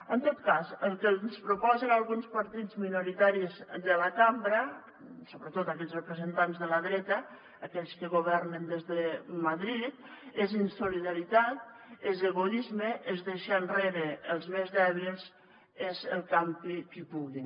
en tot cas el que ens proposen alguns partits minoritaris de la cambra sobretot aquells representants de la dreta aquells que governen des de madrid és insolidaritat és egoisme és deixar enrere els més dèbils és el campi qui pugui